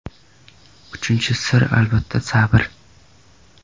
Uchinchi sir albatta sabr.